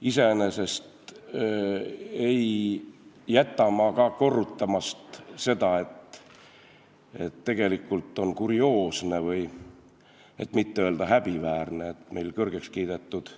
Iseenesest ei jäta ma ka korrutamata seda, kui kurioosne, et mitte öelda häbiväärne on, et meie kõrgeks kiidetud